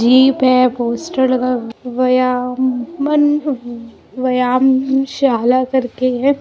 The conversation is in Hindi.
जिम है पोस्टर लगा हुआ है व्यायामन व्यायामशाला करके है।